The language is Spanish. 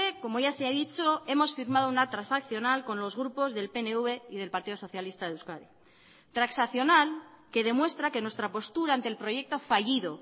como ya se ha dicho hemos firmado una transaccional con los grupos del pnv y del partido socialista de euskadi transaccional que demuestra que nuestra postura ante el proyecto fallido